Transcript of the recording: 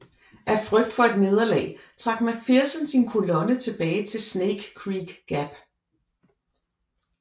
Af frygt for et nederlag trak McPherson sin kolonne tilbage til Snake Creek Gap